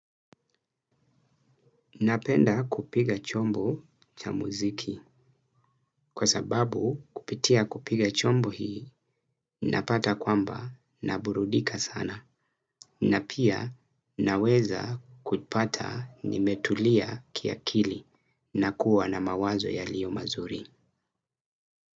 Napenda kupiga chombo cha muziki kwa sababu kupitia kupiga chombo hii napata kwamba naburudika sana na pia naweza kupata nimetulia kia kili na kuwa na mawazo yalio mazuri.